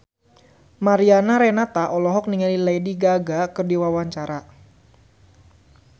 Mariana Renata olohok ningali Lady Gaga keur diwawancara